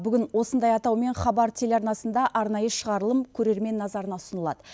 бүгін осындай атаумен хабар телеарнасында арнайы шығарылым көрермен назарына ұсынылады